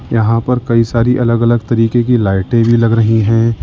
यहां पर कई सारी अलग अलग तरीके की लाइटें भी लग रही है।